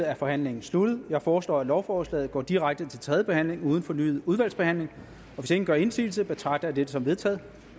er forhandlingen sluttet jeg foreslår at lovforslaget går direkte til tredje behandling uden fornyet udvalgsbehandling hvis ingen gør indsigelse betragter jeg det som vedtaget